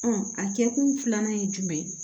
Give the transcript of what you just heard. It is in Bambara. a kɛkun filanan ye jumɛn